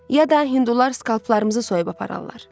Ya da hindular skalplarımızı soyub apararlar.